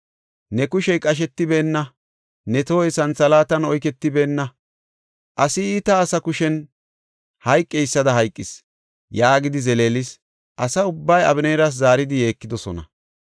Ne kushey qashetibeenna; Ne tohoy santhalaatan oyketibeenna. Asi iita asa kushen hayqeysada hayqis” yaagidi zeleelis. Asa ubbay Abeneeras zaaridi yeekidosona.